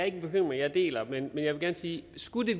en bekymring jeg deler men jeg vil gerne sige at skulle det